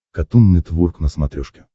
катун нетворк на смотрешке